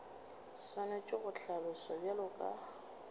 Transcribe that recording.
swanetše go hlaloswa bjalo ka